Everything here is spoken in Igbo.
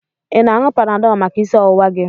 Ị na-aṅụ Panadọlụ maka isi ọwụwa gị.